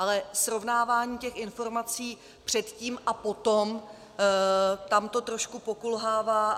Ale srovnávání těch informací předtím a potom, tam to trošku pokulhává.